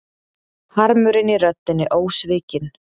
Harmurinn í röddinni ósvikinn.